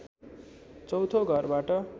चौँथो घरबाट